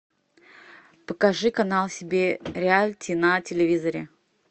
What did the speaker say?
покажи канал себе реалити на телевизоре